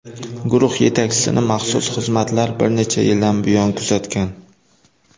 Guruh yetakchisini maxsus xizmatlar bir necha yildan buyon kuzatgan.